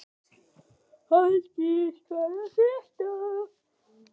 Halldís, hvað er að frétta?